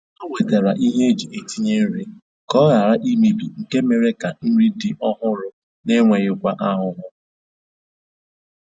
Ha wetara ihe eji etinye nri ka ọ ghara imebi nke mere ka nri dị ọhụrụ na enweghịkwa ahụhụ